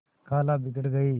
खाला बिगड़ गयीं